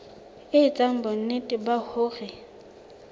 e etsa bonnete ba hore